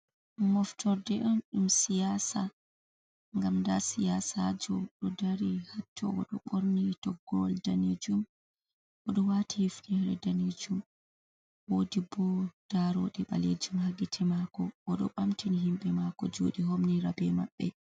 Moftorde on ɗum siyasa gam nda siyasajo ɗo dari hatto oɗo borni toggoal danejum oɗo wati hefnere danejum wodi bo daroɗe ɓalejum ha gite mako oɗo bamtini himɓɓe mako juɗe homnirabe maɓɓe.